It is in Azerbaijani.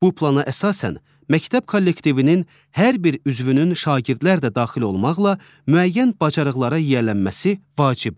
Bu plana əsasən, məktəb kollektivinin hər bir üzvünün şagirdlər də daxil olmaqla müəyyən bacarıqlara yiyələnməsi vacibdir.